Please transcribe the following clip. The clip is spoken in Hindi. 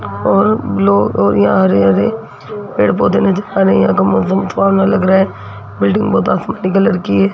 और ब्लू और यहाँ हरे-हरे पेड़-पोधै नजर आ रहे हैं यहाँ का मौसम सुहाना लग रहा है बिल्डिंग बहोत आसमानी कलर की है।